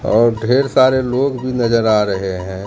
और ढेर सारे लोग भी नजर आ रहे हैं।